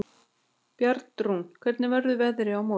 Bjarnrún, hvernig verður veðrið á morgun?